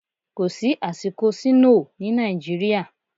Kò sí àsìkò sínóò ní Nàìjíríà.